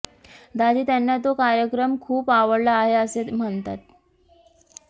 दाजी त्यांना तो कार्यक्रम खूप आवडला आहे असे म्हणतात